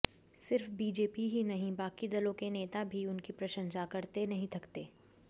सिर्फ बीजेपी ही नहीं बाकी दलों के नेता भी उनकी प्रशंसा करते नहीं थकते